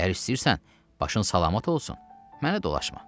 Əgər istəyirsən başın salamat olsun, mənə dolaşma.